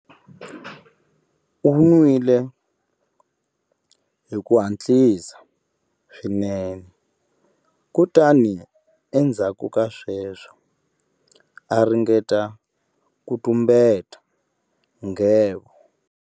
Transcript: U nwile hi ku hatlisa swinene kutani endzhaku ka sweswo a ringeta ku tumbeta nghevo.